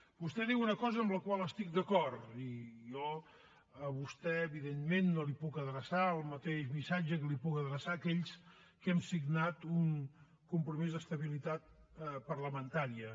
vostè diu una cosa amb la qual estic d’acord i jo a vostè evidentment no li puc adreçar el mateix missatge que puc adreçar a aquells que hem signat un compromís d’estabilitat parlamentària